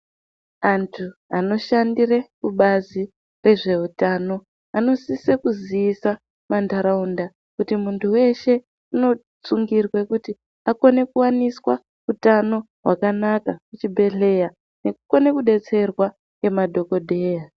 Antu anoshandire kubazi rezvehutano vanosise kuziisa mantaraunda kuti muntu veshe unosungirwe kuti akone kuvaniswa utano hwakanaka, kuchidhedhleya nekukone kubetserwa ngemadhogodheya.